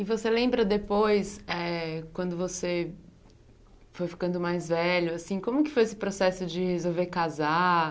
E você lembra depois, eh quando você foi ficando mais velho, assim como que foi esse processo de resolver casar?